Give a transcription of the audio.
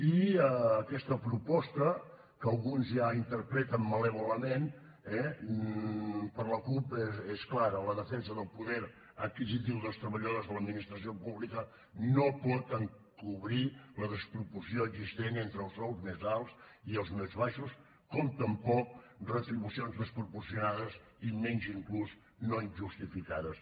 i aquesta proposta que alguns ja interpreten malèvolament eh per la cup és clara la defensa del poder adquisitiu dels treballadors de l’administració pública no pot encobrir la desproporció existent entre els sous més alts i els més baixos com tampoc retribucions desproporcionades i menys inclús no justificades